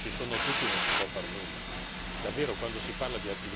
Basta con questa storia che se non ci sono tutti non si può far nulla.